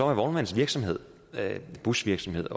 vognmandsvirksomhed busvirksomhed